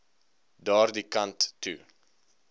daardie kant toe